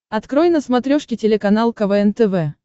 открой на смотрешке телеканал квн тв